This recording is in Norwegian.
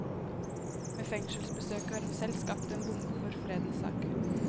Med fengselsbesøket har hun selv skapt en bombe for fredens sak.